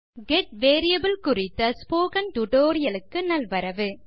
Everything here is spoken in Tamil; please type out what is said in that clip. கெட் வேரியபிள் குறித்த ஸ்போக்கன் டியூட்டோரியல் க்கு நல்வரவு